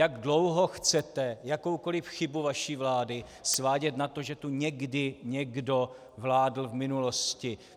Jak dlouho chcete jakoukoliv chybu vaší vlády svádět na to, že tu někdy někdo vládl v minulosti?